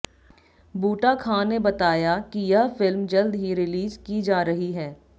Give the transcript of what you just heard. बूटा खां ने बताया कि यह फिल्म जल्द ही रीलिज की जा रही है